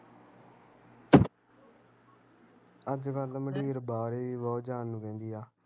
ਅੱਜ ਕੱਲ ਮਡੀਰ ਬਾਹਰ ਈ ਬਹੁਤ ਜਾਣ ਨੂੰ ਕਹਿੰਦੀ ਆ